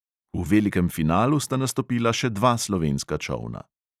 V velikem finalu sta nastopila še dva slovenska čolna.